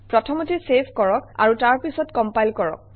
প্ৰথমতে চেভ কৰক আৰু তাৰপিছত কমপাইল কৰক